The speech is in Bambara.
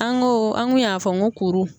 An ko an kun y'a fɔ n ko kuru